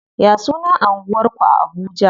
Ya sunan anguwar ku a Abuja?